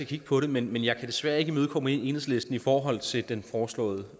kigge på det men jeg kan desværre ikke imødekomme enhedslisten i forhold til den foreslåede